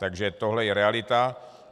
Takže tohle je realita.